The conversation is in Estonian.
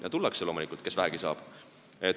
Ja tullakse, loomulikult, tuleb, kes vähegi saab.